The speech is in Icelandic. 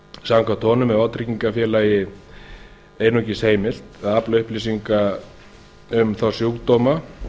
samkvæmt honum er vátryggingafélag einungis heimilt að afla upplýsinga um þá sjúkdóma